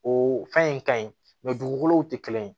O fɛn in ka ɲi dugukolo tɛ kelen ye